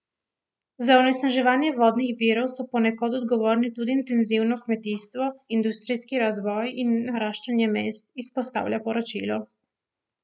Za onesnaževanje vodnih virov so ponekod odgovorni tudi intenzivno kmetijstvo, industrijski razvoj in naraščanje mest, izpostavlja poročilo.